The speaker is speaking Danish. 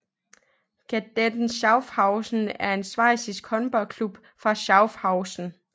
Kadetten Schaffhausen er en schweizisk håndboldklub fra Schaffhausen